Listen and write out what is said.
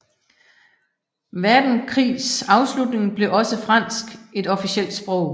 Verdenskrigs afslutning blev også fransk et officielt sprog